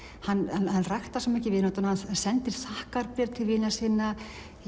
hann hann ræktar vináttuna sendir þakkarbréf til vina sinna